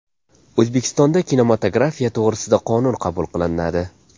O‘zbekistonda kinematografiya to‘g‘risida qonun qabul qilinadi.